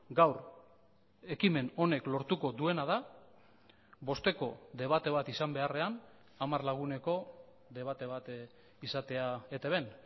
gaur ekimen honek lortuko duena da bosteko debate bat izan beharrean hamar laguneko debate bat izatea etbn